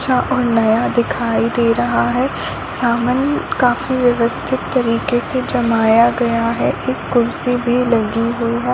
अच्छा और नया दिखाई दे रहा है सामान काफी व्यवस्थित तरीके से जमाया गया है एक कुर्सी भी लगी हुई है ।